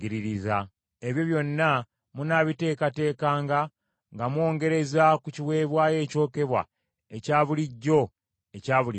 Ebyo byonna munaabiteekateekanga nga mwongereza ku kiweebwayo ekyokebwa ekya bulijjo ekya buli makya.